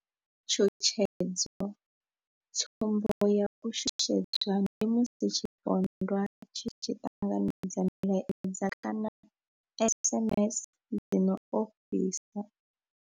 Tshutshedzo tsumbo ya u shushedzwa ndi musi tshipondwa tshi tshi ṱanganedza milaedza kana SMS dzi no ofhisa.